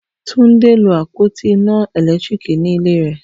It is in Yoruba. Tunde lo apoti ina elekitiriki ni ile re